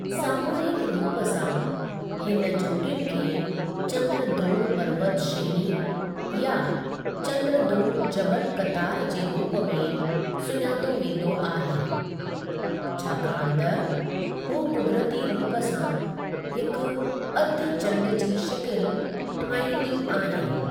सामूहिकु रूप सां, हिन चोटियुनि खे चँद्रद्रोण पर्वत श्रेणी या चँद्रद्रोण जबलु क़तारु जे रूप में सुञातो वेंदो आहे छाकाणि त हू कुदरती रूप सां हिकु अधु चंडु जी शिकिलु ठाहींदियूं आहिनि।